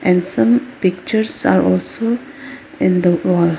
and some pictures are also in the wall.